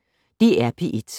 DR P1